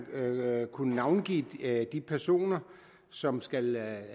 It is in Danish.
kunne navngive de personer som skal lave